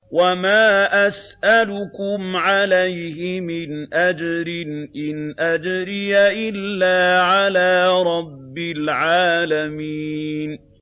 وَمَا أَسْأَلُكُمْ عَلَيْهِ مِنْ أَجْرٍ ۖ إِنْ أَجْرِيَ إِلَّا عَلَىٰ رَبِّ الْعَالَمِينَ